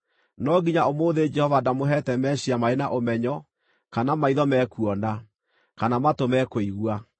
No nginya ũmũthĩ Jehova ndamũheete meciiria marĩ na ũmenyo, kana maitho me kuona, kana matũ me kũigua.